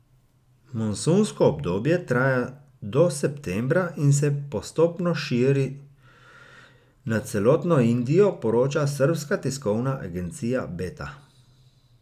Monsunsko obdobje traja do septembra in se postopno širi nad celotno Indijo, poroča srbska tiskovna agencija Beta.